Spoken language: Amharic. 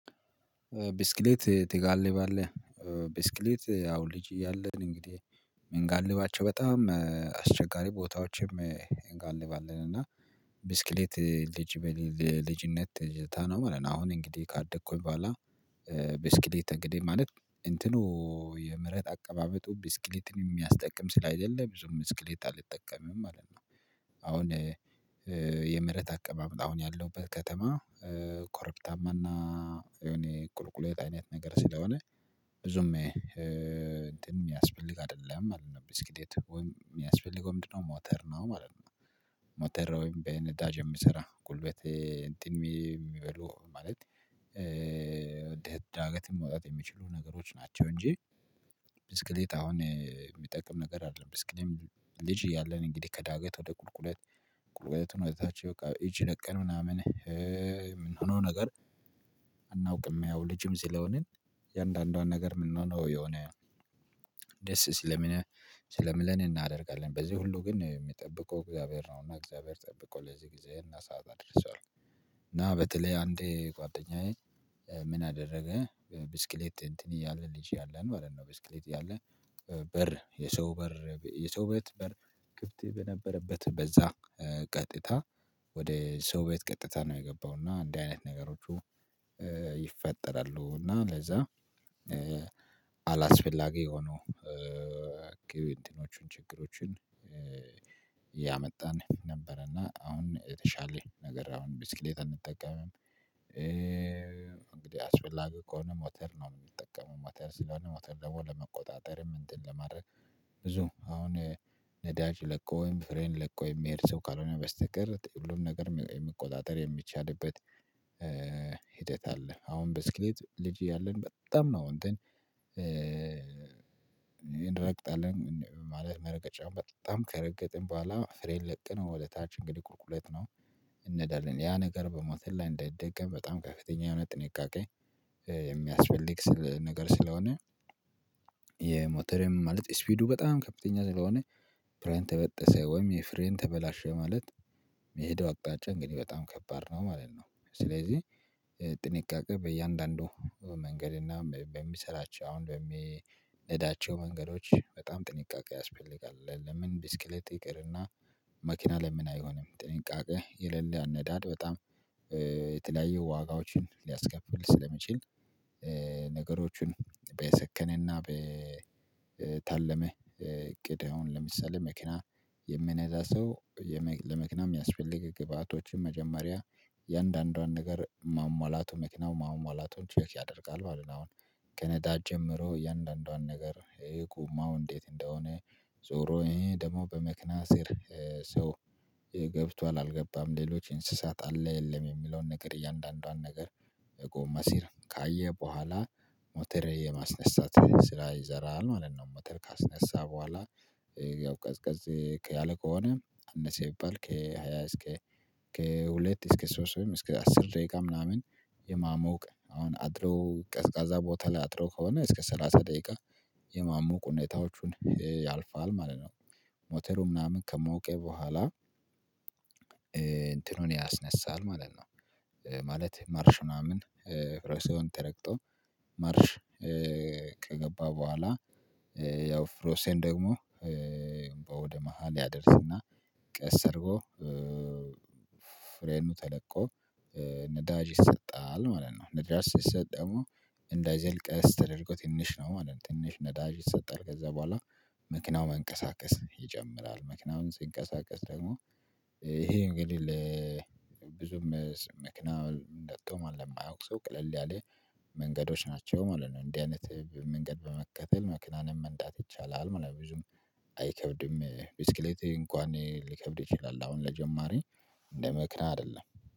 ብስክሌት ትጋልባለህ ብስክሌት ያው ልጅ እያለን እንግዲህ ምን ጋልባቸው በጣም አስቸጋሪ ቦታዎችም እጋልባለን እና ብስክሌት ልጅ ልጅነት ትዝታ ነው። ማለት ነው። አሁን እንግዲህ ካደኩኝ በኋላ ብስኪሌት እንግዲህ ማለት እንትኑ የመሬት አቀማመጡ ብስክሌትን የሚያስጠቅም ስል አይደለም ብዙም ብስክሌት አልጠቀምም ማለት ነው። አሁን የመሬት አቀማመጥ አሁን ያለው ከተማ ኮረብታማና የሆነ ቁልቁሎት አይነት ነገር ስለሆነ ብዙም የሚያስፈልግ አይደለም ማለት ነው። ብስክሌት ወይም የሚያስፈልገው ምንድነው? ሞተር ነው ማለት ነው። ሞተር ወይም በነዳጅ የምሰራ ጉልበቴ እንትን የሚበሉ ማለት ዳገትን መውጣት የሚችሉ ነገሮች ናቸው። እንጂ ብስክሌት አሁን የሚጠቅም ነገር አይደለም። ብስክሌት ልጅ እያለን እንግዲህ ከዳገት ወደ ቁልቁለት ቁልቁለት ሆነታቸው በቃ ይቺ ለቀን ምናምን የምንሆነው ነገር አናውቅም። ያው ልጅም ስለሆንን የአንዳንዷን ነገር የምንሆነው የሆነ ደስ ስለምለን እናደርጋለን በዚህ ሁሉ ግን የሚጠብቀው እግዚአብሔር ነው። እና እግዚአብሔር ጠብቆ ለዚህ ጊዜ እና ሰዓት አድርሷል። እና በተለይ አንዴ ጓደኛዬ ምን አደረገ ብስክሌት እንትን ያለ ልጅ ያለን ማለት ነው። ብስክሌት ያለ በር የሰው በር የሰው ቤት በር ክፍት በነበረበት በዛ ቀጥታ ወደ ሰው ቤት ቀጥታ ነው የገባው እና እንዲህ አይነት ነገሮቹ ይፈጠራሉ። እና ለዛ አላስፈላጊ የሆነው እንትኖችን ችግሮችን እያመጣን ነበር። እና አሁን የተሻለ ነገር አሁን ብስክሌት አንጠቀምም። እንግዲህ አስፈላጊ ከሆነ ሞተር ነው የምንጠቀመው። ሞተር ስለሆነ ሞተር ለመቆጣጠርም እንትን ለማድረግ ብዙ አሁን ነዳጅ ለቆ ወይም ፍሬን ለቆ የሚሄድ ሰው ካልሆነ በስተቀር ሁሉንም ነገር የሚቆጣጠር የሚቻልበት ሂደት አለ። አሁን ብስክሌት ልጅ እያለን በጣም ነው እንትን እንረግጣለን ማለት መረቀጫውን በጣም ከረገጥን በኋላ ፍሬን ለቀን ወደታች እንግዲህ ቁልቁለት ነው። እንሄዳለን ያ ነገር በሞተር ላይ እንዳይደገም በጣም ከፍተኛ የሆነ ጥንቃቄ የሚያስፈልግ ነገር ስለሆነ። የሞተር ማለት ስፒዱ በጣም ከፍተኛ ስለሆነ ፍሬን ተበጠሰ ወይም የፍሬን ተበላሸ ማለት የሄደው አቅጣጫ እንግዲህ በጣም ከባድ ነው ማለት ነው። ስለዚህ ጥንቃቄ በእያንዳንዱ መንገድ እና በሚሰራቸው አሁን በሚነዳቸው መንገዶች በጣም ጥንቃቄ ያስፈልጋል። ለምን ቢስክልት ይቅርና መኪና ለምን አይሆንም? ጥንቃቄ የሌለ አነዳድ በጣም የተለያዩ ዋጋዎችን ሊያስከፍል ስለሚችል። ነገሮችን በየሰከነና በታለመ እቅድ አሁን ለምሳሌ መኪና የሚነዳ ሰው ለመኪና የሚያስፈልግ ግብአቶችን መጀመሪያ እያንዳንዷን ነገር ማሟላቱ መኪናው ማሟላቱ ቼክ ያደርጋል ማለት ነው። አሁን ከነዳጅ ጀምሮ እያንዳንዷን ነገር ይሄ ጎማው እንዴት እንደሆነ ዞሮ ይሄ ደግሞ በመኪና ሲሄድ ሰው ገብቷል። አልገባም ሌሎች እንስሳት አለ የለም የሚለውን ነገር እያንዳንዷን ነገር የጎማ ሲር ካየ በኋላ ሞተር የማስነሳት ስራ ይዘራል አለን ነው። መተል ካስነሳ በኋላ ያው ቀዝቀዝ ከያለ ከሆነ አነሰ ቢባል ከሃያ እስከ ከሁለት እስከ ሶስት ወይም እስከ አስር ደቂቃ ምናምን የማሞቅ አሁን አድሮ ቀዝቃዛ ቦታ ላይ አድሮ ከሆነ እስከ ሰላሳ ደቂቃ የማሞቅ ሁኔታዎቹን ያልፋል ማለት ነው። ሞተሩ ምናምን ከሞቀ በኋላ እንትኑን ያስነሳል ማለት ነው። ማለት ማርሽ ምናምን ፍሪሲዮን ተረግጦ ማርሽ ከገባ በኋላ ያው ፍሪሲዮን ደግሞ ወደ መሃል ያደርስና ቀስ አድርጎ ፍሬኑ ተለቆ ነዳጅ ይሰጣል ማለት ነው። ነዳጅ ሲሰጥ ደግሞ እንዳይዘል ቀስ ተደርጎ ትንሽ ነው ማለት ነው። ትንሽ ነዳጅ ይሰጣል ከዛ በኋላ መኪናው መንቀሳቀስ ይጨምራል። መኪናው ሲንቀሳቀስ ደግሞ ይሄ እንግዲህ ለብዙም መኪና ነድቶ ለማያውቅ ሰው ቀለል ያለ መንገዶች ናቸው ማለት ነው። እንዲህ አይነት መንገድ በመከተል መኪናን መንዳት ይቻላል። ምናምን ብዙም አይከብድም። ብስክሌት እንኳን ሊከብድ ይችላል አሁን ለጀማሪ መኪና አይደለም